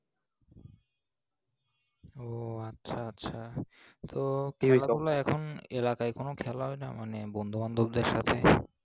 ও আচ্ছা আচ্ছা, তো এখন এলাকায় কোনো খেলা হয় না? মানে বন্ধু বান্ধবদের সাথে?